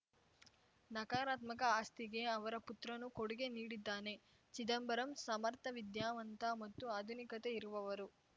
ನಕಾರಾತ್ಮಕ ಆಸ್ತಿಗೆ ಅವರ ಪುತ್ರನೂ ಕೊಡುಗೆ ನೀಡಿದ್ದಾನೆ ಚಿದಂಬರಂ ಸಮರ್ಥ ವಿದ್ಯಾವಂತ ಮತ್ತು ಆಧುನಿಕತೆ ಇರುವವರು